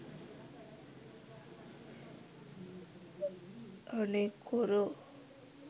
අනේ කොරෝ